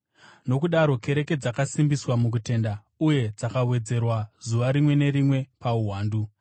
Nokudaro kereke dzakasimbiswa mukutenda uye dzakawedzerwa zuva rimwe nerimwe pauwandu.